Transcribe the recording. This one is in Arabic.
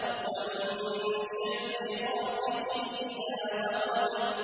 وَمِن شَرِّ غَاسِقٍ إِذَا وَقَبَ